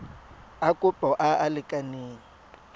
a kopo a a lekaneng